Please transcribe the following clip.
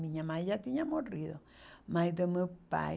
Minha mãe já tinha morrido, mas do meu pai...